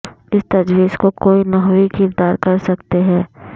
اس تجویز کو کوئی نحوی کردار کر سکتے ہیں